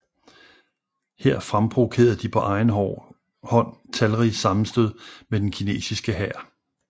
Her fremprovokerede de på egen hånd talrige sammenstød med den kinesiske hær